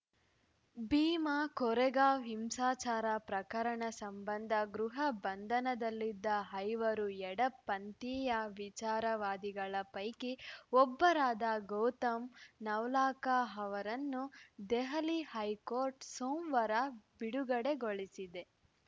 ಭೀಮಾ ಕೋರೆಗಾಂವ್‌ ಹಿಂಸಾಚಾರ ಪ್ರಕರಣ ಸಂಬಂಧ ಗೃಹ ಬಂಧನದಲ್ಲಿದ್ದ ಐವರು ಎಡಪಂಥೀಯ ವಿಚಾರವಾದಿಗಳ ಪೈಕಿ ಒಬ್ಬರಾದ ಗೌತಮ್‌ ನವ್‌ಲಾಖಾ ಅವರನ್ನು ದೆಹಲಿ ಹೈಕೋರ್ಟ್‌ ಸೋಮವಾರ ಬಿಡುಗಡೆಗೊಳಿಸಿದೆ